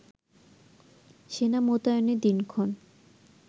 সেনা মোতায়েনের দিনক্ষণ